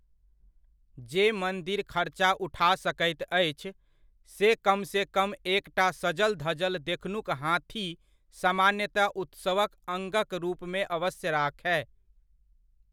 जे मन्दिर खर्चा उठा सकैत अछि, से कमसँ कम एकटा सजल धजल देखनुक हाथी सामान्यतया उत्सवक अङ्गक रूपमे अवश्य राखय।